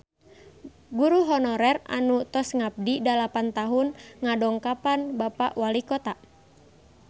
Guru honorer anu tos ngabdi dalapan tahun ngadongkapan Bapak Walikota